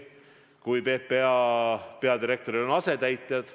Aga PPA peadirektoril on asetäitjad.